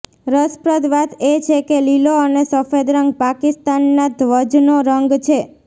રસપ્રદ વાત એ છે કે લીલો અને સફેદ રંગ પાકિસ્તાનના ધ્વજનો રંગ છે